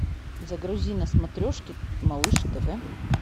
загрузи на смотрешке малыш тв